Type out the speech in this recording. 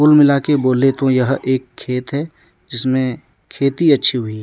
कुल मिलाकर बोले तो यह एक खेत है जिसमें खेती अच्छी हुए हैं।